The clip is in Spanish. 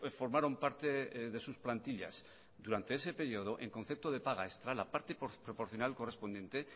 formaron parte de sus plantillas durante ese periodo en concepto de paga extra la parte proporcional correspondiente